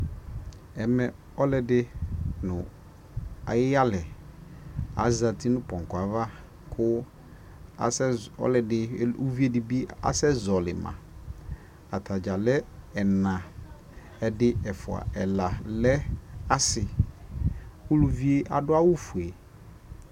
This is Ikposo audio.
ɛmɛ ɔlʋɛdi nʋ ayi yalɛ azati nʋ pɔnkɔ aɣa kʋ ʋvi dibi asɛ zɔli ma, atagya lɛ ɛnɛ ɛdi ɛƒʋa ɛla lɛ asii, ʋlʋviɛ adʋ awʋ ƒʋɛ